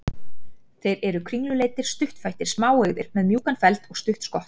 Þeir eru kringluleitir, stuttfættir, smáeygðir, með mjúkan feld og stutt skott.